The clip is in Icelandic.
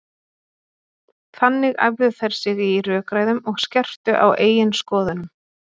Þannig æfðu þær sig í rökræðum og skerptu á eigin skoðunum.